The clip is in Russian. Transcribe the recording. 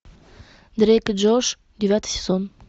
дрейк и джош девятый сезон